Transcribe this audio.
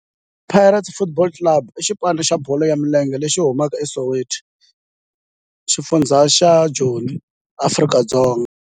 Orlando Pirates Football Club i xipano xa bolo ya milenge lexi humaka eSoweto, xifundzha xa Joni, Afrika-Dzonga.